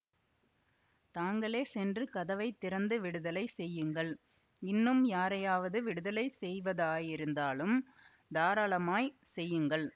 தாங்களே சென்று கதவை திறந்து விடுதலை செய்யுங்கள் இன்னும் யாரையாவது விடுதலை செய்வதாயிருந்தாலும் தாராளமாய்ச் செய்யுங்கள்